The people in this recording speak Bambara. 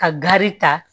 Ka gari ta